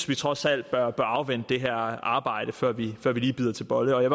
vi trods alt bør afvente det her arbejde før vi lige bider til bolle jeg